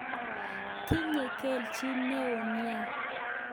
Tinye kelchin neo nia.